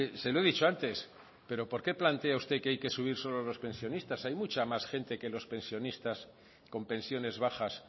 se lo he dicho antes pero por qué plantea usted que hay que subir solo a los pensionistas hay mucha más gente que los pensionista con pensiones bajas